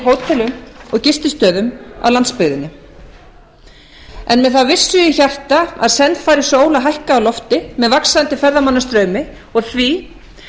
hótelum og gististöðum á landsbyggðinni en með þá vissu í hjarta að senn fari sól að hækka á lofti með vaxandi ferðamannastraumi og því